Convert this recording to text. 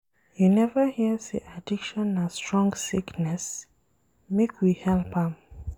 You neva hear sey addiction na strong sickness? Make we help am.